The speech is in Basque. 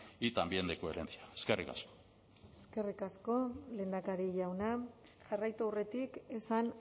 y también de coherencia eskerrik asko eskerrik asko lehendakari jauna jarraitu aurretik esan